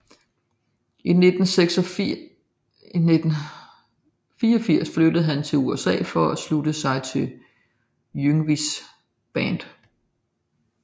I 1984 flyttede han til USA for at slutte sig til Yngwies band